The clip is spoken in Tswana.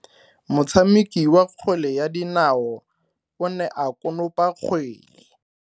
Motshameki wa kgwele ya dinao o ne a konopa kgwele.